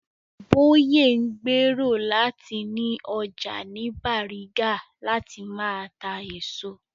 Bóyè ń gbèrò láti ni ọjà ní Bàrígà láti máa ta èso